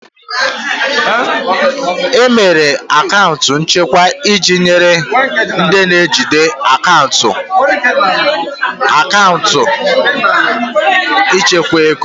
E mere akaụntụ nchekwa iji nyere ndị na-ejide akaụntụ aka ịchekwa ego